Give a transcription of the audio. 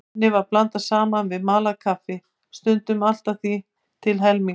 Henni var blandað saman við malað kaffi, stundum allt að því til helminga.